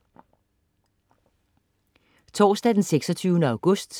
Torsdag den 26. august